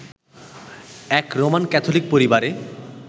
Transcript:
এক Roman Catholic পরিবারে